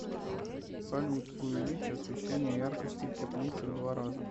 салют увеличь освещение яркости в теплице в два раза